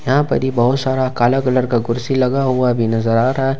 यहां पर ही बहोत सारा काला कलर का कुर्सी लगा हुआ भी नजर आ रहा है।